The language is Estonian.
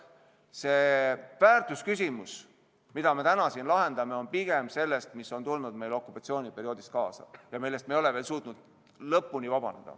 See väärtusküsimus, mida me täna siin lahendame, käib pigem selle kohta, mis on tulnud meile okupatsiooniperioodist kaasa ja millest me ei ole veel suutnud lõpuni vabaneda.